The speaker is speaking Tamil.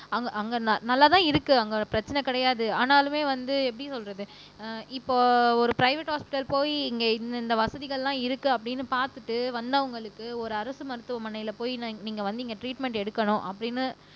அங்க அங்க ந நல்லாதான் இருக்கு அங்க பிரச்சனை கிடையாது ஆனாலுமே வந்து எப்படி சொல்றது ஆஹ் இப்போ ஒரு பிரைவேட் ஹாஸ்பிடல் போய் இங்க இந்த இந்த வசதிகள் எல்லாம் இருக்கு அப்படீன்னு பார்த்துட்டு வந்தவங்களுக்கு ஒரு அரசு மருத்துவமனையில போய் நீங்க வந்து இங்க டிரீட்மெண்ட் எடுக்கணும் அப்படின்னு